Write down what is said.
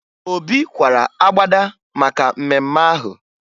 Obi kwara agbada maka mmemme ahụ